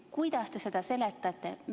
Kuidas te seda seletate?